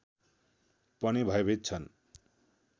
पनि भयभीत छन्